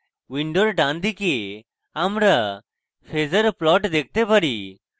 window ডানদিকে আমরা phasor plot দেখতে পাই